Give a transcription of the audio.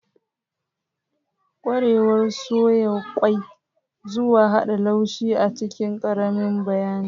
Ƙwarewar soya ƙwai zuwa hada laushi a cikin ƙaramin bayani.